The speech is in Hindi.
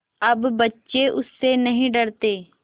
अब बच्चे उससे नहीं डरते